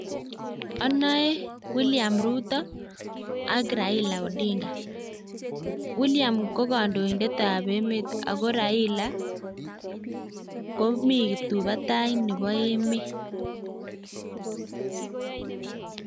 Anoe William ruto ak Rails omollo odinga, William ko kondoinetab emet ako raila komi kiptuibatai nebo emet